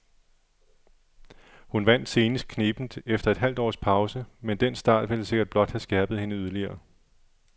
Hun vandt senest knebent efter et halvt års pause, men den start vil sikkert blot have skærpet hende yderligere.